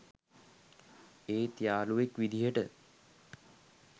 ඒත් යාලුවෙක් විදියට